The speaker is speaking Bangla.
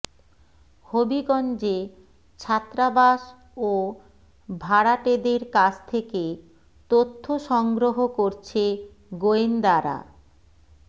হবিগঞ্জে ছাত্রাবাস ও ভাড়াটেদের কাছ থেকে তথ্য সংগ্রহ করছে গোয়েন্দারা